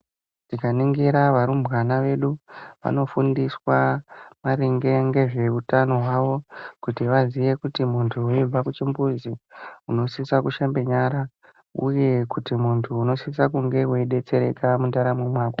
Tikaningira varumbwana vedu vanofundiswa maringe ngezveutano hwawo, kuti vaziye kuti muntu waenda kuchimbuzi, unosisa kushambe nyara uye kuti muntu unosisa kunge weidetsereka mundaramo mako.